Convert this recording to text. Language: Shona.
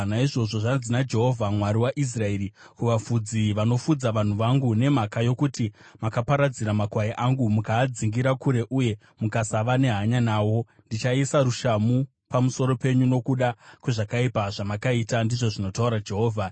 Naizvozvo zvanzi naJehovha, Mwari waIsraeri, kuvafudzi vanofudza vanhu vangu: “Nemhaka yokuti makaparadzira makwai angu mukaadzingira kure uye mukasava nehanya nawo, ndichaisa rushamhu pamusoro penyu nokuda kwezvakaipa zvamakaita,” ndizvo zvinotaura Jehovha.